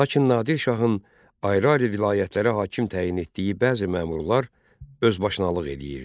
Lakin Nadir şahın ayrı-ayrı vilayətlərə hakim təyin etdiyi bəzi məmurlar özbaşınalıq eləyirdi.